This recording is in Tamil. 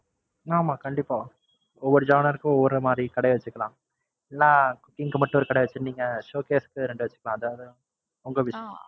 ஆமா கண்டிப்பா ஒவ்வொரு genre க்கு ஒவ்வொரு மாறி ஒரு கடைய வச்சுக்குரலாம். இல்லனா showcase க்கு ரெண்ட வச்சுக்கிரலாம். உங்க wish